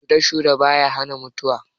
Shure-shure ba ya hana mutuwa.